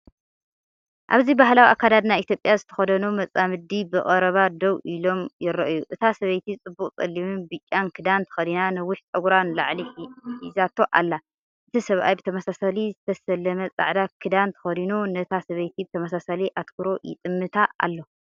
ኣብዚ ባህላዊ ኣከዳድና ኢትዮጵያ ዝተኸድኑ መጻምድቲ ብቐረባ ደው ኢሎም ይረኣዩ። እታ ሰበይቲ ጽቡቕ ጸሊምን ብጫን ክዳን ተኸዲና ነዊሕ ጸጉራ ንላዕሊ ሒዛቶ ኣላ። እቲ ሰብኣይ ብተመሳሳሊ ዝተሰለመ ጻዕዳ ክዳን ተኸዲኑ ነታ ሰበይቲ ብተመሳሳሊ ኣተኩሮ ይጥምታ ኣሎ።